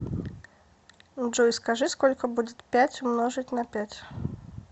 джой скажи сколько будет пять умножить на пять